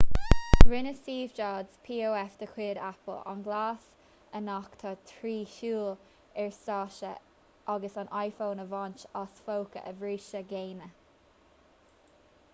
rinne steve jobs pof de chuid apple an gléas a nochtadh trí shiúl ar stáitse agus an iphone a bhaint as póca a bhríste géine